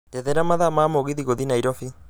njethera mathaa ma mũgithi gũthiĩ nairobi